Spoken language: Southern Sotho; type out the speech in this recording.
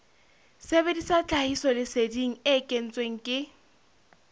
sebedisa tlhahisoleseding e kentsweng ke